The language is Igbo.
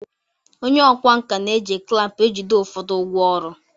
Onye ọkwá nkà na-eji klampu ejide ụfọdụ ngwaọrụ.